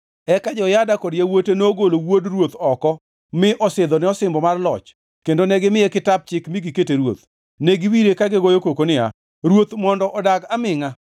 Eka Jehoyada kod yawuote nogolo wuod ruoth oko mi osidhone osimbo mar loch kendo negimiye kitap chik mi gikete ruoth. Ne giwire ka gigoyo koko niya, “Ruoth mondo odag amingʼa!”